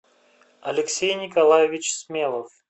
алексей николаевич смелов